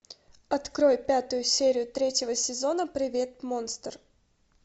открой пятую серию третьего сезона привет монстр